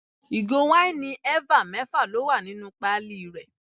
Ìgò wáìnì eva mẹ́fà ló wà nínú pali rẹ.